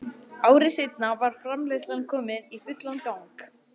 Ári seinna var framleiðslan komin í fullan gang.